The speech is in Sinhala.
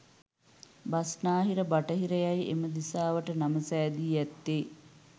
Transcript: බස්නාහිර, බටහිර යැයි එම දිසාවට නම සෑදී ඇත්තේ